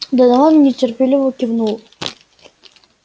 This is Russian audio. донован нетерпеливо кивнул